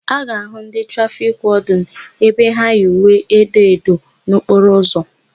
A ga-áhụ̀ ndị trafiki wọdịnụ ebe ha yi uwe edo edo n'okporo ụzọ.